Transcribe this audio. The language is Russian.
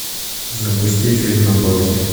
запусти фильм на паузе